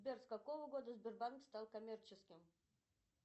сбер с какого года сбербанк стал коммерческим